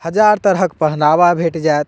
हजार तरह के पहनावा भेट जाएत।